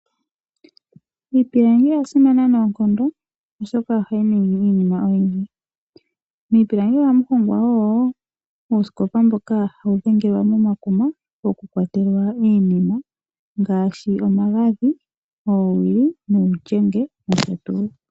Iipilangi oyasimana noonkondo oshoka ohayi ningi iinima oyindji. Miipilangi ohamu hongwa owala oosikopa ndhoka hadhi dhengelwa momakuma oku kwatela iinima ngaashi omagadhi , oowili nuulyenge nosho tuu.